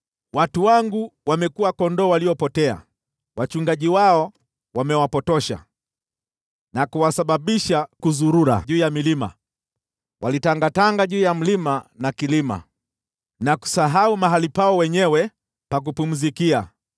“Watu wangu wamekuwa kondoo waliopotea; wachungaji wao wamewapotosha na kuwasababisha kuzurura juu ya milima. Walitangatanga juu ya mlima na kilima, na kusahau mahali pao wenyewe pa kupumzikia.